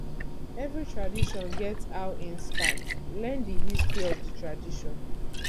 every tradition get how in start learn di history of the tradition